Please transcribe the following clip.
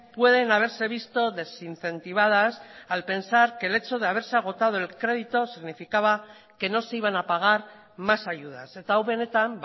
pueden haberse visto desincentivadas al pensar que el hecho de haberse agotado el crédito significaba que no se iban a pagar más ayudas eta hau benetan